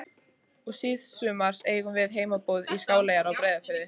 Og síðsumars eigum við heimboð í Skáleyjar á Breiðafirði.